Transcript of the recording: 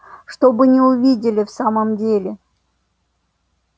чтобы не увидели в самом деле